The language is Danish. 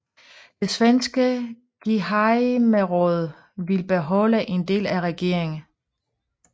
Det svenske gehejmeråd ville beholde en del af regeringen